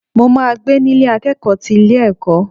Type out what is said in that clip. Mo ma gbé ní Ilé akẹ́kọ̀ọ́ ti ilé ẹ̀kọ́.